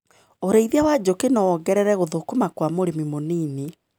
ũrĩithia wa njũkĩ nowongerere gũthũkũma kwa mũrĩmi mũnini.